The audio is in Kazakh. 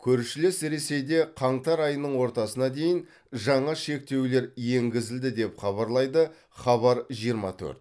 көршілес ресейде қаңтар айының ортасына дейін жаңа шектеулер енгізілді деп хабарлайды хабар жиырма төрт